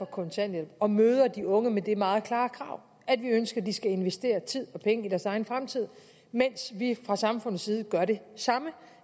kontanthjælp og møder de unge med det meget klare krav at vi ønsker de skal investere tid og penge i deres egen fremtid mens vi fra samfundets side gør det samme